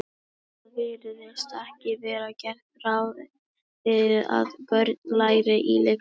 Það virðist ekki vera gert ráð fyrir að börn læri í leikskólum.